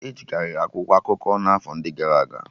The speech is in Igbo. Ejikari akwụkwọ akụkọ n'afọ ndị gara aga